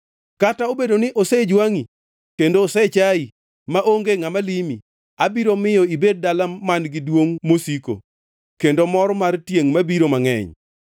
Kata obedo ni osejwangʼi kendo osechayi, maonge ngʼama limi, abiro miyo ibed dala man-gi duongʼ mosiko kendo mor mar tiengʼ mabiro mangʼeny.